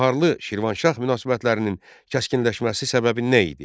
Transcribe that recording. Baharlı-Şirvanşah münasibətlərinin kəskinləşməsi səbəbi nə idi?